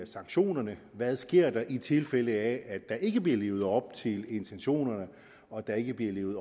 sanktionerne hvad sker der i tilfælde af at der ikke bliver levet op til intentionerne og der ikke bliver levet